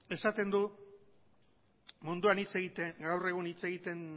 esaten du munduan gaur egun hitz egiten